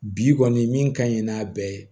Bi kɔni min ka ɲi n'a bɛɛ ye